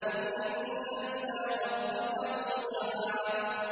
إِنَّ إِلَىٰ رَبِّكَ الرُّجْعَىٰ